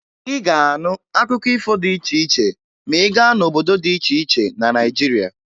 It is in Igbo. Ị ga-anụ akụkọ ifo dị iche iche ma ị gaa n'obodo dị iche iche na Naịjirịa